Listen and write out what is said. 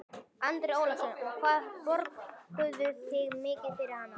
Andri Ólafsson: Og hvað borguðu þið mikið fyrir hana?